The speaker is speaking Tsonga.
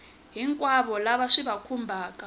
hinkwavo lava swi va khumbhaka